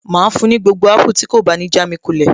Màá fún un ní gbogbo apple tí kò bá ní jámi kulẹ̀